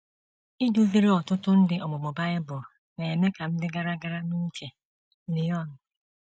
Iduziri ọtụtụ ndị ọmụmụ Bible na - eme ka m dị gara gara n’uche, Léone